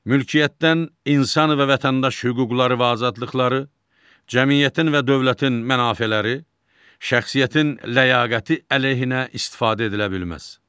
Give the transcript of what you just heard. Mülkiyyətdən insan və vətəndaş hüquqları və azadlıqları, cəmiyyətin və dövlətin mənafeləri, şəxsiyyətin ləyaqəti əleyhinə istifadə edilə bilməz.